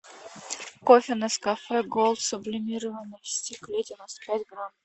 кофе нескафе голд сублимированный в стекле девяносто пять грамм